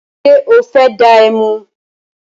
Ṣé o fẹ́ dá ẹmu?